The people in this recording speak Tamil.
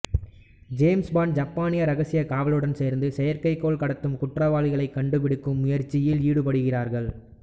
ஜேம்ஸ் பாண்ட் ஜப்பானிய இரகசிய காவலுடன் சேர்ந்து செயற்கைக்கோள் கடத்தும் குற்றவாளிகளை கண்டுபிடிக்கும் முயற்சியில் ஈடுபடுகிறார்கள்